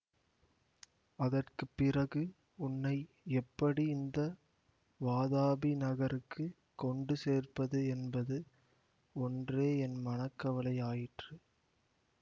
அதற்கு பிறகு உன்னை எப்படி இந்த வாதாபி நகருக்குக் கொண்டு சேர்ப்பது என்பது ஒன்றே என் மனக்கவலை ஆயிற்று